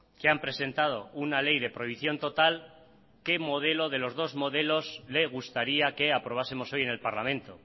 que han presentado una ley de prohibición total qué modelos de los dos modelos le gustaría que aprobásemos hoy en el parlamento